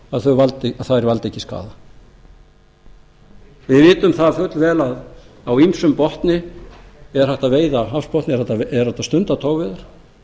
að þær valdi ekki skaða við vitum fullvel að á ýmsum hafsbotni er hægt að stunda togveiðar